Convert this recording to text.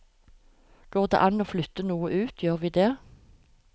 Går det an å flytte noe ut, gjør vi det.